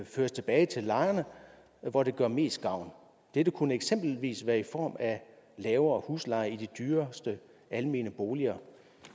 føres tilbage til lejerne hvor det gør mest gavn dette kunne eksempelvis være i form af lavere husleje i de dyreste almene boliger